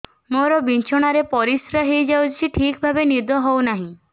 ମୋର ବିଛଣାରେ ପରିସ୍ରା ହେଇଯାଉଛି ଠିକ ଭାବେ ନିଦ ହଉ ନାହିଁ